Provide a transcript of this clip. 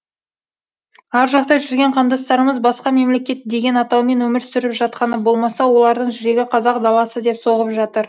ар жақта жүрген қандастарымыз басқа мемлекет деген атаумен өмір сүріп жатқаны болмаса олардың жүрегі қазақ даласы деп соғып жатыр